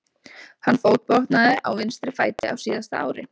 Hann fótbrotnaði á vinstri fæti á síðasta ári.